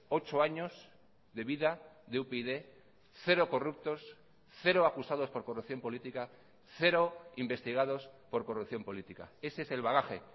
ocho años de vida de upyd cero corruptos cero acusados por corrupción política cero investigados por corrupción política ese es el bagaje